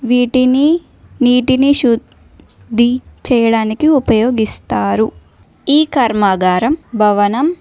వీటిని నీటిని శుద్ధి చేయడానికి ఉపయోగిస్తారు ఈ కర్మాగారం భవనం.